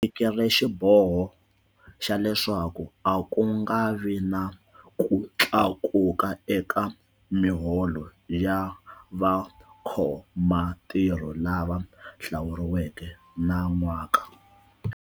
Tekile xiboho xa leswaku a ku nga vi na ku tlakuka eka miholo ya vakhomantirho lava hlawuriweke nan'waka.